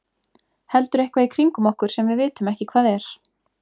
Heldur eitthvað í kringum okkur sem við vitum ekki hvað er.